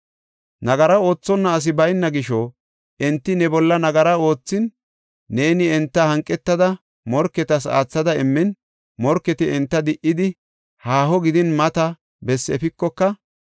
“Nagara oothonna asi bayna gisho enti ne bolla nagara oothin, neeni enta hanqetada morketas aathada immin, morketi enta di77idi, haaho gidin mata bessi efikoka,